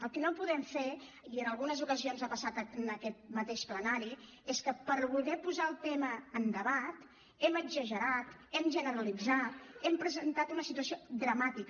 el que no podem fer i en algunes ocasions ha passat en aquest mateix plenari és que per voler posar el tema en debat hem exagerat hem generalitzat hem presentat una situació dramàtica